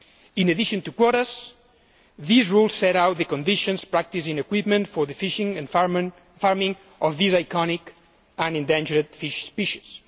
In addition to quotas, these rules set out the conditions, practice and equipment for the fishing and farming of these iconic and endangered fish species.